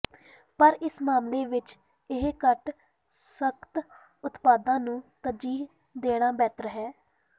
ਪਰ ਇਸ ਮਾਮਲੇ ਵਿੱਚ ਇਹ ਘੱਟ ਸਖਤ ਉਤਪਾਦਾਂ ਨੂੰ ਤਰਜੀਹ ਦੇਣਾ ਬਿਹਤਰ ਹੈ